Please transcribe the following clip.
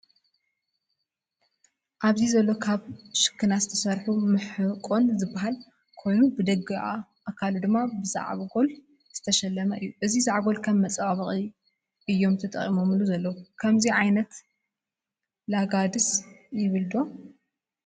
ኣብዚ ዘሎ ካብ ሽክና ዝተሰርሑ መሕቆን ዝበሃል ኮይኑ ብደጋዊ ኣካሉ ድማ ብዛዕጎል ዝተሸለመ እዩ። እዚ ዛዕጎል ከም መመፃባበቂ እዮም ተጠጠቂሞሙሉ ዘለው። ከምዙይ ዓይነት ላጋ ድስ ይብል ዶ?